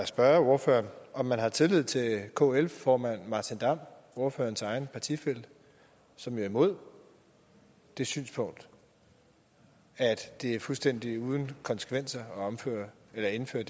spørge ordføreren om man har tillid til kl formand martin damm ordførerens egen partifælle som jo er imod det synspunkt at det er fuldstændig uden konsekvenser at indføre